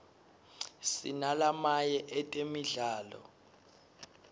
sinalamaye etemidlalo